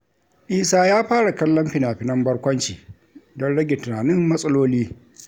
Isa ya fara kallon fina-finan barkwanci don rage tunanin matsaloli.